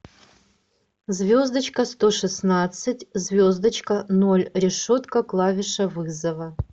звездочка сто шестнадцать звездочка ноль решетка клавиша вызова